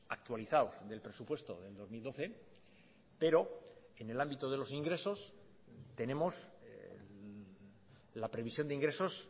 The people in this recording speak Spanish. actualizados del presupuesto del dos mil doce pero en el ámbito de los ingresos tenemos la previsión de ingresos